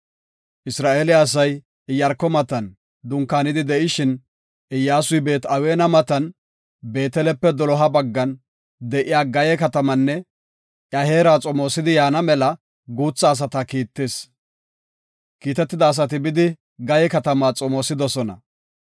Isra7eele asay Iyaarko matan dunkaanidi de7ishin, Iyyasuy Beet-Aweena matan Beetelepe doloha baggan de7iya Gayee katamanne iya heera xomoosidi yaana mela guutha asata kiittis. Kiitetida asati bidi, Gayee katamaa xomoosidosona.